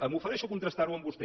m’ofereixo a contrastar ho amb vostè